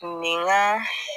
Nin ka